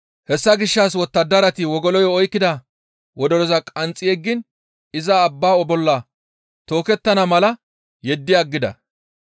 Hessa gishshas wottadarati wogoloyo oykkida wodoroza qanxxi yeggiin iza abbaa bolla tookettana mala yeddi aggida.